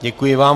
Děkuji vám.